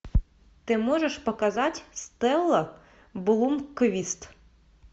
ты можешь показать стелла блумквист